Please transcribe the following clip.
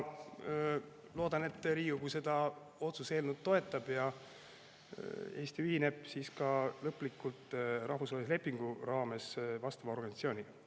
Loodan, et Riigikogu seda otsuse eelnõu toetab ja Eesti ühineb rahvusvahelise lepingu raames vastava organisatsiooniga lõplikult.